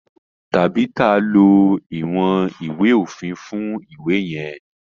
Tabitha ló iwọn ìwé òfin fún iwe yen.